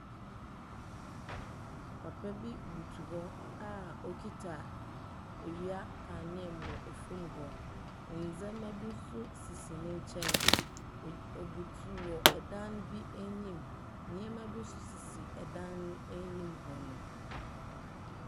Papa bi butuw hɔ a okitsa ewia kanea mu wɔ famu hɔ, ndzɛmba bi so sisi ne nkyɛn, ogy obutuw wɔ dan bi enyim, nneɛma bi so sisi dan no anyim hɔnom.